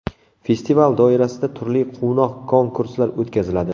Festival doirasida turli quvnoq konkurslar o‘tkaziladi.